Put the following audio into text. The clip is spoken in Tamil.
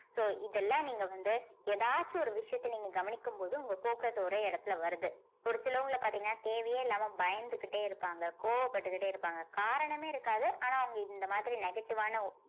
so இதெல்லாம் நீங்க வந்து ஏதாச்சு ஒரு விஷயத்த நீங்க கவனிக்கும் போது உங்க focus ஒரே இடத்துல வருது ஒரு சிலவங்கல பார்த்தீங்கன்னா தேவையே இல்லாம பயந்துகிட்டே இருப்பாங்க கோவப்பட்டுக்கிட்டே இருப்பாங்க காரணமே இருக்காது ஆனா அவங்க இந்த மாதிரி negative ஆன